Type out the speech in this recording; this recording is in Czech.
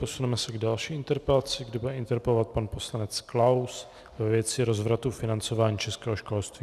Posuneme se k další interpelaci, kde bude interpelovat pan poslanec Klaus ve věci rozvratu financování českého školství.